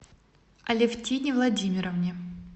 алевтине владимировне